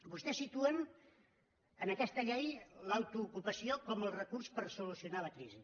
vostès situen en aquesta llei l’autoocupació com el recurs per solucionar la crisi